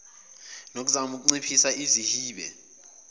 nokuzama ukunciphisa izihibe